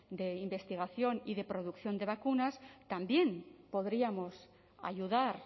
de investigación y de producción de vacunas también podríamos ayudar